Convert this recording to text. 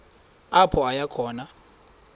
apho aya khona